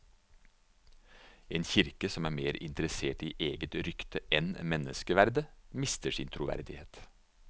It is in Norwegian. En kirke som er mer interessert i eget rykte enn menneskeverd, mister sin troverdighet.